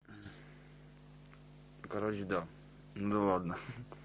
короче да ну ладно